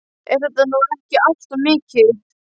Er þetta nú ekki allt of mikið?